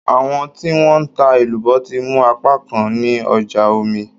Àwọn tí wọ́n ń ta èlùbọ́ ti mú apákan ní ọjà Omí.